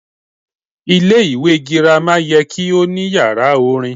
Ilé ìwé girama ye kí ó ní yàrá orin